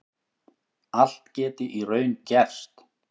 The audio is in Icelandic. Allt geti í raun gerst